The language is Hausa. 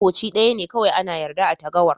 Koci daya ne kowai ana yarda a'tagawar.